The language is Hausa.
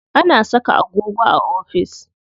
Ana saka agogo a ofis.